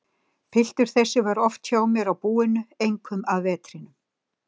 Piltur þessi var oft hjá mér á búinu, einkum að vetrinum.